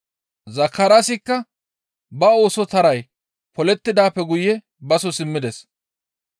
Zakaraasikka ba ooso taray polettidaappe guye baso simmides.